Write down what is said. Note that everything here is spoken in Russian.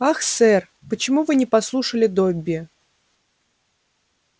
ах сэр почему вы не послушали добби